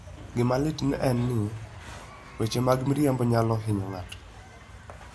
Gima lit en ni, weche mag miriambo nyalo hinyo ng'ato.